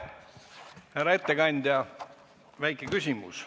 Härra ettekandja, väike küsimus.